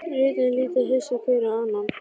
Ritararnir líta hissa hver á annan.